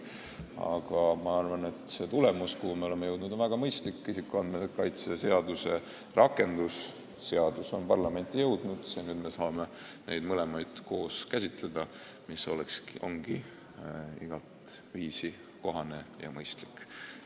Aga ma arvan, et see tulemus, milleni me oleme jõudnud, on väga mõistlik: isikuandmete kaitse seaduse rakendamise seadus on ka parlamenti jõudnud ja nüüd me saame mõlemaid koos käsitleda, mis ongi igateviisi kohane ja mõistlik.